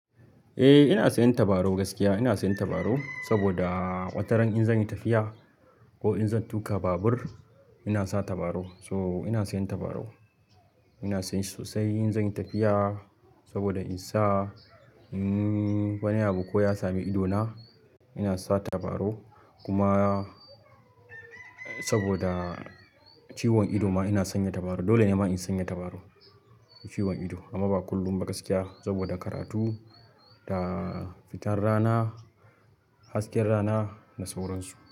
Eh ina sanya tabarau gaskiya. Ina sanya tabarau saboda wataran in zan yi tafiya ko in zan tuƙa babur ina sa tabarau. So ina sanya tabarau. Ina sanya shi sosai in zan yi tafiya saboda in sa in wani abu ko ya sami idona ina sa tabarau. Kuma saboda ciwon ido ma ina sanya tabarau. Dole ne ma in sanya tabarau, ciwon ido amma ba kullum ba gaskiya saboda karatu da fitar rana, hasken rana da sauransu.